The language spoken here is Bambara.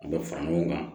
A bɛ fara ɲɔgɔn kan